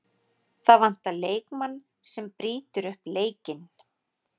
Það vantar leikmann sem brýtur upp leikinn.